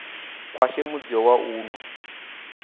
khwashe mudzio wa u no